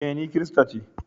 E, ni kirista ce.